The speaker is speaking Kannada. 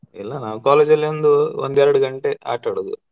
ಇಲ್ಲ ನಾನ್ college ಅಲ್ಲಿ ಒಂದು ಒಂದ್ ಎರ್ಡ್ ಗಂಟೆ ಆಟಾಡೋದು.